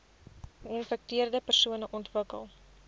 geinfekteerde persone ontwikkel